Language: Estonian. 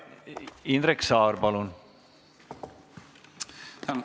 Indrek Saar, palun!